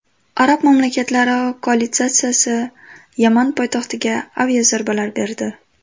Arab mamlakatlari koalitsiyasi Yaman poytaxtiga aviazarbalar berdi.